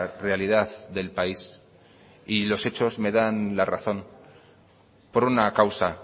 realidad del país y los hechos me dan la razón por una causa